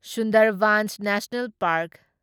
Sundarbans national park